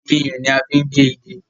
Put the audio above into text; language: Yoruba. Iyùn ni a fi n gé igi